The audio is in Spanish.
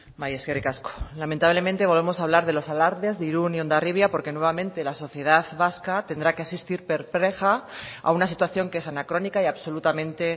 bai eskerrik asko lamentablemente volvemos a hablar de los alardes de irún y hondarribia porque nuevamente la sociedad vasca tendrá que asistir perpleja a una situación que es anacrónica y absolutamente